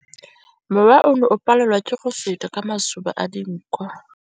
Mowa o ne o palelwa ke go feta ka masoba a dinko.